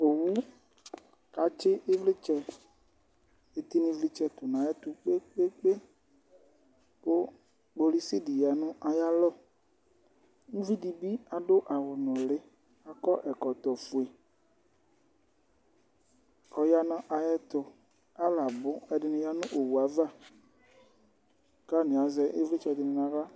Owu kʋ atsɩ ɩvlɩtsɛ, ɩtɩlɩvlɩtsɛ tʋ nʋ ayɛtʋ kpe-kpe-kpe kʋ kpolisi dɩ ya nʋ ayalɔ. Uvi dɩ bɩ adʋ awʋnʋlɩ, akɔ ɛkɔtɔfue kʋ ɔya nʋ ayɛtʋ. Alʋ abʋ, ɛdɩnɩ ya nʋ owu ava kʋ atanɩ azɛ ɩvlɩtsɛ dɩ nʋ aɣla.